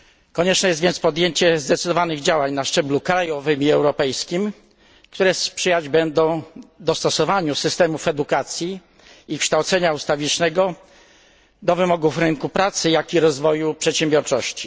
Konieczne jest więc podjęcie zdecydowanych działań na szczeblu krajowym i europejskim, które sprzyjać będą dostosowaniu systemów edukacji i kształcenia ustawicznego do wymogów rynku pracy, jak i do rozwoju przedsiębiorczości.